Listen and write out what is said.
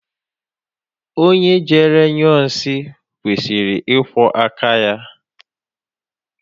Onye jere nyụọ nsị kwesịrị ịkwọ áká ya.